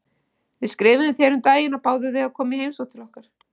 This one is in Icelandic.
Við skrifuðum þér um daginn og báðum þig um að koma í heimsókn til okkar.